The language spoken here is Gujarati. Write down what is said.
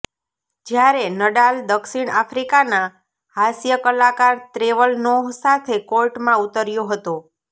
જ્યારે નડાલ દક્ષિણ આફ્રિકાના હાસ્ય કલાકાર ટ્રેવર નોહ સાથે કોર્ટમાં ઉતર્યો હતો